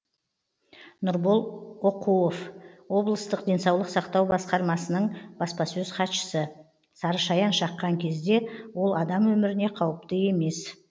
нұрбол оқуов облыстық денсаулық сақтау басқармасының баспасөз хатшысы сарышаян шаққан кезде ол адам өміріне қауіпті емес